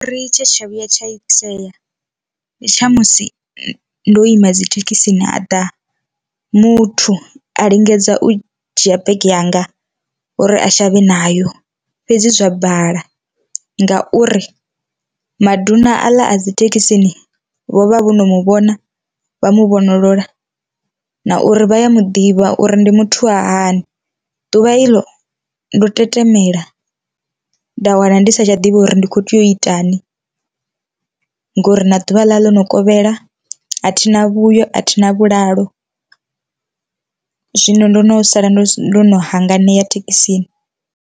Ri tshe tsha vhuya tsha itea ndi tsha musi ndo ima dzithekhisini a ḓa muthu a lingedza u dzhia bege yanga uri a shavhe nayo fhedzi zwa bala ngauri maduna aḽa a dzithekhisini vho vha vho no muvhona vha mu vhonolola, na uri vha ya muḓivha uri ndi muthu wa hani, ḓuvha iḽo ndo tetemela nda wana ndi sa tsha ḓivha uri ndi kho tea u itani ngori na ḓuvha ḽa ḽo no kovhela, athina vhuyo athina vhulalo, zwino ndo no sala ndo hanganea thekhisini.